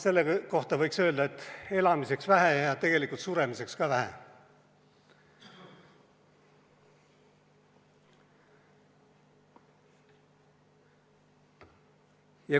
Selle kohta võiks öelda, et elamiseks vähe ja tegelikult suremiseks ka vähe.